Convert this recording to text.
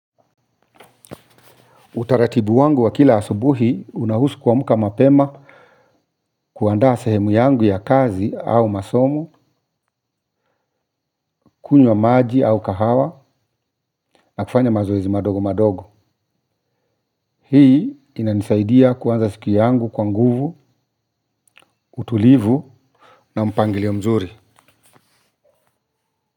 Utaratibu wangu wa kila asubuhi unahusu kuamka mapema kuandaa sehemu yangu ya kazi au masomo, kunywa maji au kahawa na kufanya mazoezi madogo madogo. Hii inanisaidia kuanza siku yangu kwa nguvu, utulivu na mpangilio mzuri.